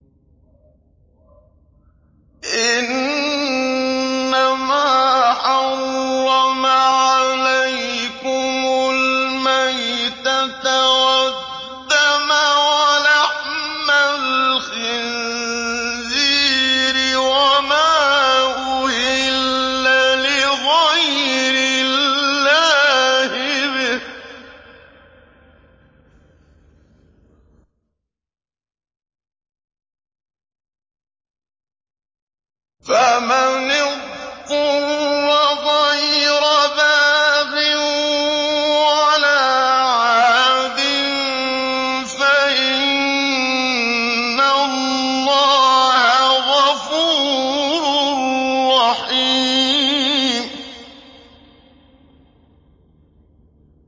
إِنَّمَا حَرَّمَ عَلَيْكُمُ الْمَيْتَةَ وَالدَّمَ وَلَحْمَ الْخِنزِيرِ وَمَا أُهِلَّ لِغَيْرِ اللَّهِ بِهِ ۖ فَمَنِ اضْطُرَّ غَيْرَ بَاغٍ وَلَا عَادٍ فَإِنَّ اللَّهَ غَفُورٌ رَّحِيمٌ